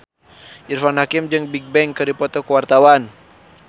Irfan Hakim jeung Bigbang keur dipoto ku wartawan